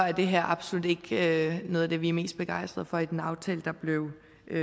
er det her absolut ikke noget af det vi er mest begejstret for i den aftale der blev